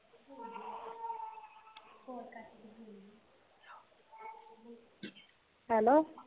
hello